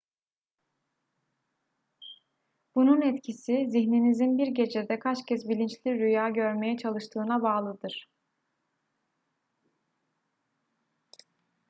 bunun etkisi zihninizin bir gecede kaç kez bilinçli rüya görmeye çalıştığına bağlıdır